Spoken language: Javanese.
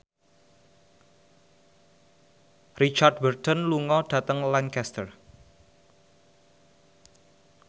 Richard Burton lunga dhateng Lancaster